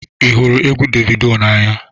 ị hụrụ egwu davido n'anya?